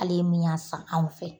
Hal'e min y'a san anw fɛ,